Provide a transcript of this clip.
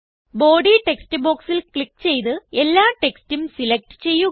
body text ബോക്സിൽ click ചെയ്ത് എല്ലാ ടെക്സ്റ്റും സിലകറ്റ് ചെയ്യുക